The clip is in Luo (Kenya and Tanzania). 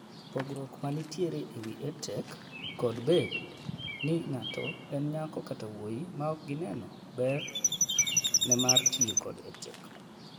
pogruok man tiere e wi EdTech kod bed ni ng'atoe en nyako kata wuoyi maok gineno ber ne mar tiyo kod EdTech